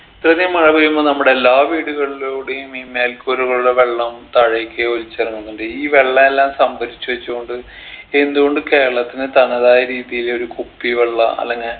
ഇത്രയധികം മഴ പെയ്യുമ്പൊ നമ്മുടെ എല്ലാ വീടുകളിലുടെയും ഈ മേൽക്കൂരകളിലെ വെള്ളം താഴേക്ക് ഒലിച്ചിറങ്ങുന്നുണ്ട് ഈ വെള്ളല്ലാം സംഭരിച്ചു വെച്ചു കൊണ്ട് എന്തുകൊണ്ട് കേരളത്തിനെ തനതായ രീതിയിൽ ഒരു കുപ്പി വെള്ളാ അല്ലെങ്കി